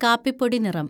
കാപ്പിപ്പൊടി നിറം